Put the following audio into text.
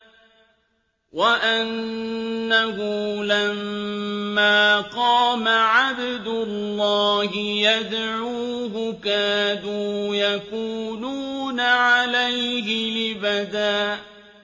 وَأَنَّهُ لَمَّا قَامَ عَبْدُ اللَّهِ يَدْعُوهُ كَادُوا يَكُونُونَ عَلَيْهِ لِبَدًا